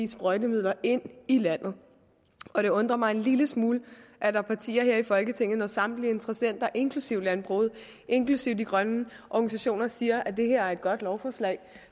sprøjtemidler ind i landet og det undrer mig en lille smule at der er partier her i folketinget når samtlige interessenter inklusive landbruget inklusive de grønne organisationer siger at det her er et godt lovforslag